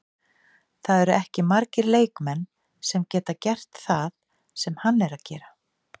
Það eru ekki margir leikmenn sem geta gert það sem hann er að gera.